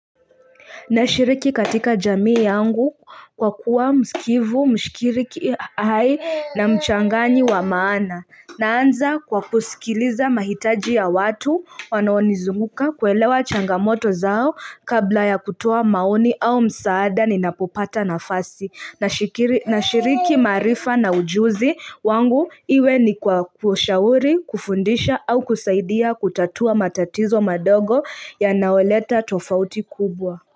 Na shiriki katika jamii yangu kwa kuwa msikivu, mshikiriki hai na mchangani wa maana. Naanza kwa kusikiliza mahitaji ya watu wanoonizunguka kuelewa changamoto zao kabla ya kutoa maoni au msaada ni napopata nafasi. Nashiriki maarifa na ujuzi wangu iwe ni kwa kushauri, kufundisha au kusaidia kutatua matatizo madogo yanayoleta tofauti kubwa.